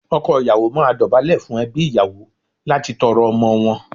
Ọkọ ìyàwó máa dọ̀bálẹ̀ fún ẹbí ìyàwó láti tọrọ ọmọ wọn.